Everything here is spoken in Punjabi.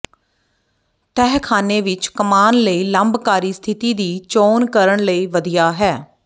ਤਹਿਖ਼ਾਨੇ ਵਿਚ ਕਮਾਨ ਲਈ ਲੰਬਕਾਰੀ ਸਥਿਤੀ ਦੀ ਚੋਣ ਕਰਨ ਲਈ ਵਧੀਆ ਹੈ